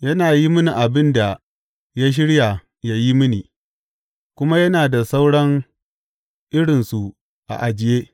Yana yi mini abin da ya shirya yă yi mini, kuma yana da sauran irinsu a ajiye.